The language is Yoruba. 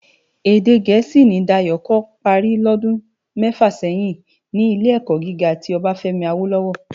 Èdè Gẹẹsi ni Dayo kò pári lòdún mèfá sèyin ni Ilé-èkò gigá ti Obafemi Awolowo.